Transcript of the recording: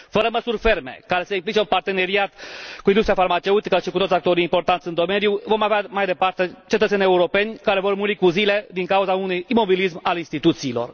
Fără măsuri ferme, care să implice un parteneriat cu industria farmaceutică și cu toți actorii importanți în domeniu vom avea mai departe cetățeni europeni care vor muri cu zile din cauza unui imobilism al instituțiilor.